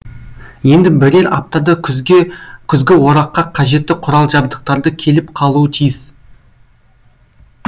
енді бірер аптада күзгі ораққа қажетті құрал жабдықтарды келіп қалуы тиіс